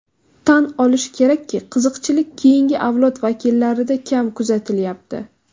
Tan olish kerakki, qiziqchilik keyingi avlod vakillarida kam kuzatilayapti.